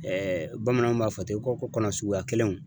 Ɛɛ bamananw b'a fɔ ten ko ko kɔnɔ suguya kelenw